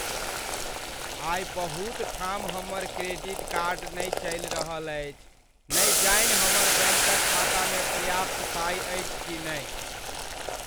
आइ बहुत ठाम हमर क्रेडिट कार्ड नहि चलि रहल अछि। नहि जानि हमर बैंकक खातामे पर्याप्त पाइ अछि कि नहि।